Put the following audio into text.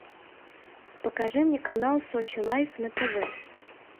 покажи мне канал сочи лайв на тв